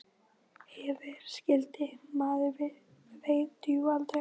Ef vera skyldi. maður veit jú aldrei.